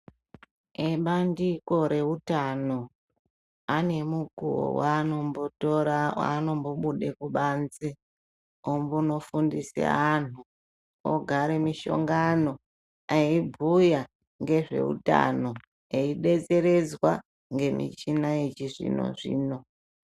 Ebandiko reutano ane mukuwo waanombotora waanombobude kubanze ombonogundise anhu ofare muhlongano obhuya ngezveutano eidetsererdzwa ngemichina yechizvino zvino .